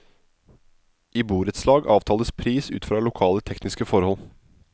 I borettslag avtales pris ut fra lokale tekniske forhold.